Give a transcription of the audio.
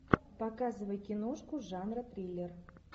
показывай киношку жанра триллер